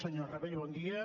senyor rabell bon dia